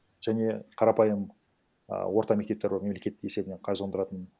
және қарапайым а орта мектептер бар мемлекет есебінен қаржыландыратын